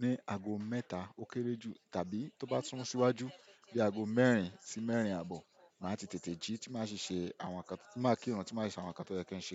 ní ago mẹ́ta ó kéré jù tàbí tó bá sún síwájú bíi aago mẹ́rin sí mẹ́rin àbọ̀. Màá ti tètè jí tí máa ṣi ṣe àwọn nǹkan tí máa ki'run tí máa si ṣe àwọn nǹkan to yẹ kí ń ṣe.